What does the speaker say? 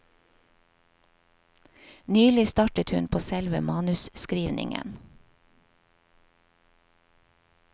Nylig startet hun på selve manusskrivningen.